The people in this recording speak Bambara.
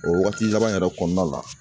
O wagati sabanan yɛrɛ kɔnɔna la